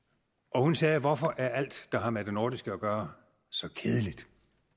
hun sagde hvorfor er alt der har med det nordiske at gøre så kedeligt